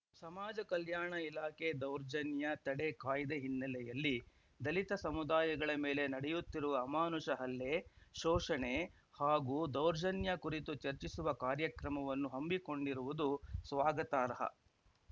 ಸಮಾಜ ಕಲ್ಯಾಣ ಇಲಾಖೆ ದೌರ್ಜನ್ಯ ತಡೆ ಕಾಯ್ದೆ ಹಿನ್ನೆಲೆಯಲ್ಲಿ ದಲಿತ ಸಮುದಾಯಗಳ ಮೇಲೆ ನಡೆಯುತ್ತಿರುವ ಅಮಾನುಷ ಹಲ್ಲೆ ಶೋಷಣೆ ಹಾಗೂ ದೌರ್ಜನ್ಯ ಕುರಿತು ಚರ್ಚಿಸುವ ಕಾರ್ಯಕ್ರಮವನ್ನು ಹಮ್ಮಿಕೊಂಡಿರುವುದು ಸ್ವಾಗತಾರ್ಹ